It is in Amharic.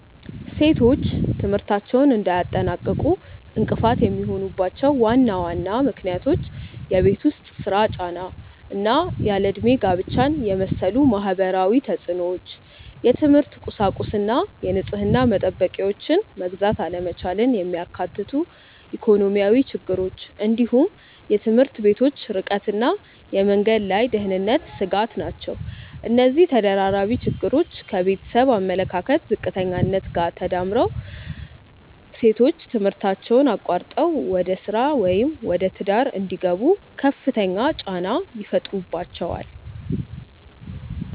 ሴቶች ትምህርታቸውን እንዳያጠናቅቁ እንቅፋት የሚሆኑባቸው ዋና ዋና ምክንያቶች የቤት ውስጥ ሥራ ጫና እና ያለ ዕድሜ ጋብቻን የመሰሉ ማህበራዊ ተፅዕኖዎች፣ የትምህርት ቁሳቁስና የንጽህና መጠበቂያዎችን መግዛት አለመቻልን የሚያካትቱ ኢኮኖሚያዊ ችግሮች፣ እንዲሁም የትምህርት ቤቶች ርቀትና የመንገድ ላይ የደህንነት ስጋት ናቸው። እነዚህ ተደራራቢ ችግሮች ከቤተሰብ አመለካከት ዝቅተኛነት ጋር ተዳምረው ሴቶች ትምህርታቸውን አቋርጠው ወደ ሥራ ወይም ወደ ትዳር እንዲገቡ ከፍተኛ ጫና ይፈጥሩባቸዋል።